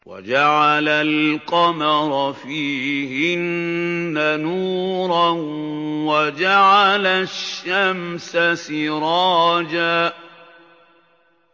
وَجَعَلَ الْقَمَرَ فِيهِنَّ نُورًا وَجَعَلَ الشَّمْسَ سِرَاجًا